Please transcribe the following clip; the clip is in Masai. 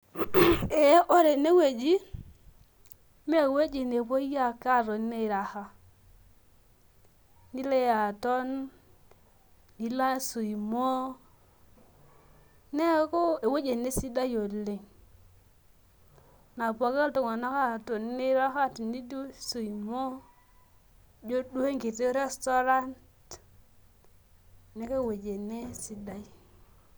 Ee ore ene wueji naa ewueji nepuoi ake aatoni auraha. nilo aton nilo swimo, neeku ewueji ene sidai oleng. nilp swimo ijo duo enkiti restaurant neeku ewueji ene sidai.